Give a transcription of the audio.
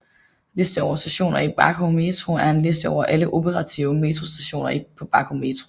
Liste over stationer i Baku Metro er en liste over alle operative metrostationer på Baku Metro